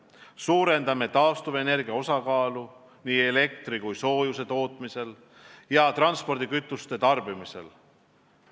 Suurendame taastuvenergia osakaalu nii elektri kui soojuse tootmisel ja transpordikütuste tarbimisel.